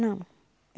Não.